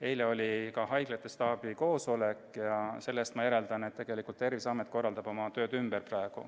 Eile oli samuti haiglate staabi koosolek ja sellest ma järeldan, et tegelikult korraldab Terviseamet praegu oma tööd ümber.